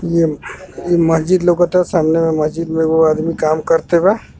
इ मस्जिद लऊकत ह सामने मस्जिद में एगो आदमी काम करते बा।